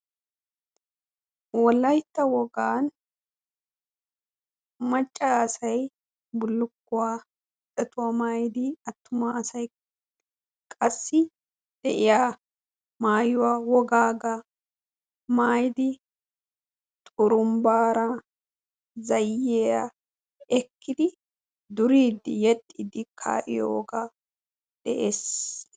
Wolaytta wogan macca asay bullukkuwa doshuwa maayiidi attuma asay qassi deiya maayuwa wogaagaa maayidi xurumbbaara zayyiyaa ekkidi duriidi yexxiidi kayo wogaa dees.